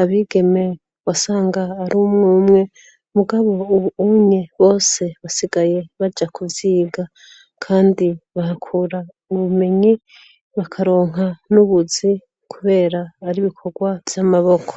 abigeme wasanga ari umwe umwe. Mugabo ubu unye bose basigaye baja ku vyiga. Kandi bahakura ubumenyi, bakaronka n'ubuzi kubera ari ibikorwa vy'amaboko.